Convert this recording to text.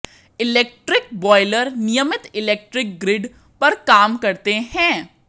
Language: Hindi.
इलेक्ट्रिक बॉयलर नियमित इलेक्ट्रिक ग्रिड पर काम करते हैं